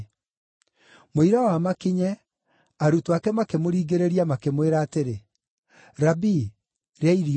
Mũira wa makinye, arutwo ake makĩmũringĩrĩria makĩmwĩra atĩrĩ, “Rabii, rĩa irio.”